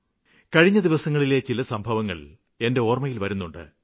കഴിഞ്ഞ ദിവസങ്ങളിലെ ചില സംഭവങ്ങള് എന്റെ ഓര്മ്മയില് വരുന്നുണ്ട്